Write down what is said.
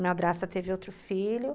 madrasta teve outro filho